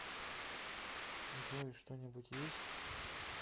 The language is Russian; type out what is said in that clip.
джой что нибудь есть